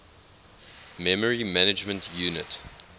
memory management unit